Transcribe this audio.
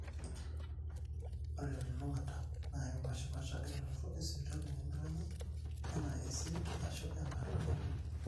ore telulungata naa epaashipaasha elototo esipitali nemeiragi enaa esirit aashu enaa ilarin